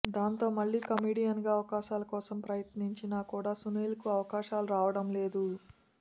దాంతో మళ్లీ కమెడియన్గా అవకాశాల కోసం ప్రయత్నించినా కూడా సునీల్కు అవకాశాలు రావడం లేదు